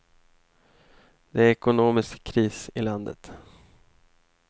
Det är ekonomisk kris i landet.